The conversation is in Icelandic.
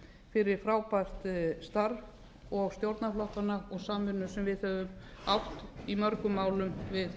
fyrir frábært starf og stjórnarflokkanna og samvinnu sem við höfum átt í mörgum árum við